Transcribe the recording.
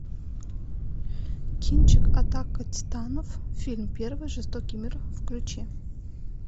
кинчик атака титанов фильм первый жестокий мир включи